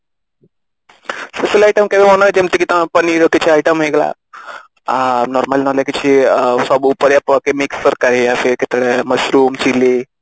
special item କେବେ ବନାଏ ଯେମିତି କି ତ Paneer ର କିଛି item ହେଇଗଲା ଆଁ normally ନହେଲେ କିଛି ସବୁ ପରିବା ପକେଇ mix ତରକାରି ୟା ଫିର କେତେବେଳେ mushroom chili